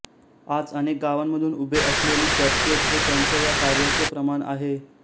आज अनेक गावांमधून उभे असलेली चर्चेस हे त्यांच्या या कार्याचे प्रमाण आहे